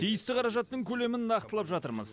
тиісті қаражаттың көлемін нақтылап жатырмыз